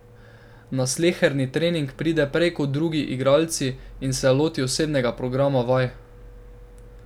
Na sleherni trening pride prej kot drugi igralci in se loti osebnega programa vaj.